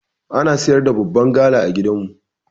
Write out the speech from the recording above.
Ana siyar da babban gala a gidan mu.